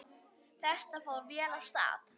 Þetta fór vel af stað.